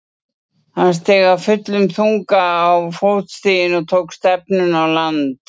Hann steig af fullum þunga á fótstigin og tók stefnuna á land.